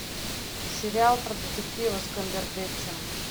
сериал про детектива с камбербэтчем